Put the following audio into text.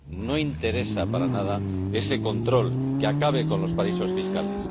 No interesa para nada ese control que acabe con los paraísos fiscales.